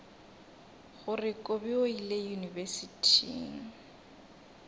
gore kobi o ile yunibesithing